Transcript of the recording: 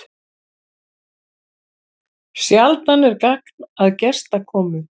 Sjaldan er gagn að gestakomu.